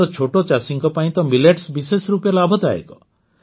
ଆମର ଛୋଟ ଚାଷୀଙ୍କ ପାଇଁ ତ ମିଲେଟ୍ସ ବିଶେଷ ରୂପେ ଲାଭଦାୟକ